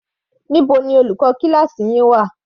Níbo ni olùkọ́ kíláákì wà?